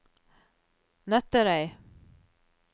Nøtterøy